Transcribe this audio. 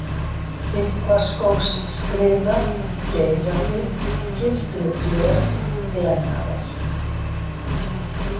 Þykkvaskógsskriða, Geirafit, Gildrufles, Glennarar